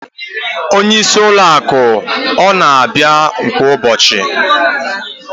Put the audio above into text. Onyeisi ụlọ akụ ọ na-abịa kwa ụbọchị?